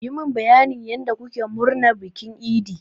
Yi mun bayanin yanda kuke murnar bikin idi!